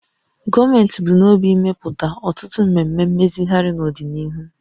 Gọọmenti bu n'obi imepụta ọtụtụ mmemme mmezigharị n'ọdịnihu